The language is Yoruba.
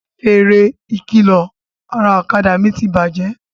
Fèrè ìkìlọ̀ ara ọ̀kadà mi ti bàjẹ́